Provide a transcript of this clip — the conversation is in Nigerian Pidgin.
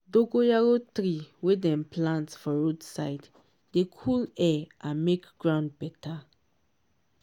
dogoyaro tree wey dem plant for road side dey cool air and make ground better.